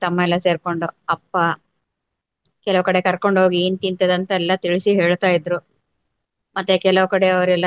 ತಮ್ಮ ಎಲ್ಲ ಸೇರ್ಕೊಂಡು ಅಪ್ಪ ಕೆಲವು ಕಡೆ ಕರ್ಕೊಂಡು ಹೋಗಿ ಏನ್ ತಿಂತದೆ ಅಂತ ಎಲ್ಲ ತಿಳಿಸಿ ಹೇಳ್ತಾಯಿದ್ರು. ಮತ್ತೆ ಕೆಲವು ಕಡೆ ಅವರೆಲ್ಲರೂ